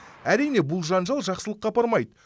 әрине бұл жанжал жақсылыққа апармайды